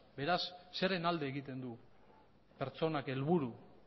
beraz zeren alde egiten du pertsonak helburu